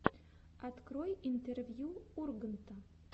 открой интервью урганта